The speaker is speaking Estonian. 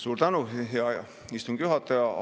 Suur tänu, hea istungi juhataja!